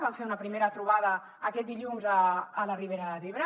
vam fer una primera trobada aquest dilluns a la ribera d’ebre